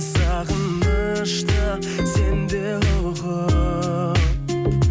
сағынышты сен де ұғып